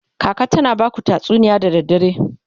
kaka tana Baku tatsuniya da dare?